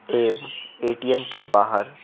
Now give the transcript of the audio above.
एव ए_टी_एम के बाहर--